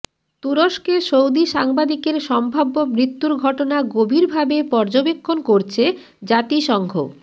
তুরস্কে সৌদি সাংবাদিকের সম্ভাব্য মৃত্যুর ঘটনা গভীরভাবে পর্যবেক্ষণ করছে জাতিসংঘ